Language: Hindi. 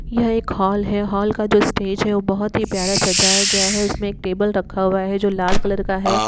यह एक हॉल है हॉल का जो स्टेज है वो बोहोत ही प्यारा सजाया गया है। उसमे एक टेबल रखा हुआ है जो लाल कलर का है।